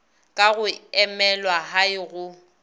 ka go imelwa hai go